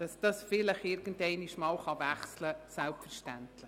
Dass ein Standortwechsel irgendeinmal möglich sein wird, ist selbstverständlich.